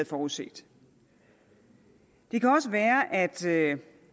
forudset det kan også være at